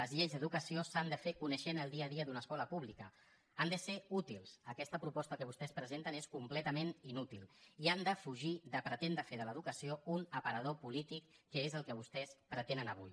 les lleis d’educació s’han de fer coneixent el dia a dia d’una escola pública han de ser útils aquesta proposta que vostès presenten és completament inútil i han de fugir de pretendre fer de l’educació un aparador polític que és el que vostès pretenen avui